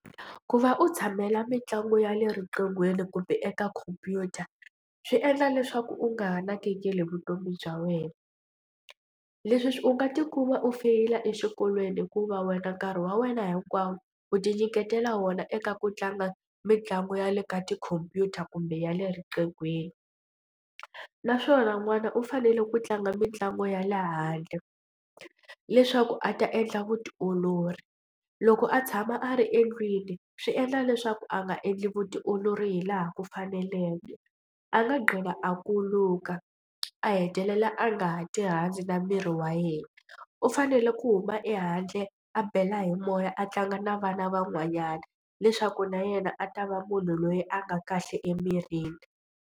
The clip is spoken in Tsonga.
Ku va u tshamela mitlangu ya le riqinghweni kumbe eka khompyuta swi endla leswaku u nga ha nakekeli vutomi bya wena. Leswi u nga tikuma u feyila exikolweni hikuva wena nkarhi wa wena hinkwawo u tinyiketela wona eka ku tlanga mitlangu ya le ka tikhompyuta kumbe ya le riqinghweni naswona n'wana u fanele ku tlanga mitlangu ya le handle leswaku a ta endla vutiolori. Loko a tshama a ri endlwini swi endla leswaku a nga endli vutiolori hi laha ku faneleke a nga gcina a kuluka a hetelela a nga ha tirhandzi na miri wa yena. U fanele ku huma ehandle a bela hi moya a tlanga na vana van'wanyana leswaku na yena a ta va munhu loyi a nga kahle emirini.